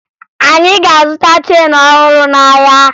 Anyị ga-azụta cheenu ọhụrụ n'ahịa